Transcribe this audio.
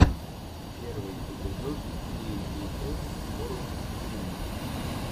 первый эпизод кей би эс ворлд ти ви